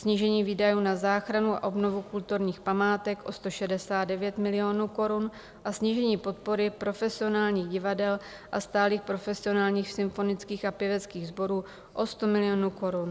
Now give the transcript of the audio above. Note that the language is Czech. Snížení výdajů na záchranu a obnovu kulturních památek o 169 milionů korun a snížení podpory profesionálních divadel a stálých profesionálních symfonických a pěveckých sborů o 100 milionů korun.